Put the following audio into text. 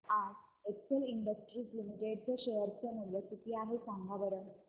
आज Excel Industries Limited चे share चे मूल्य किती आहे सांगा बरं